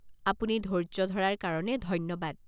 আপুনি ধৈৰ্য্য ধৰাৰ কাৰণে ধন্যবাদ।